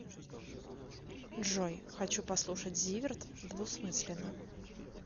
джой хочу послушать зиверт двусмысленно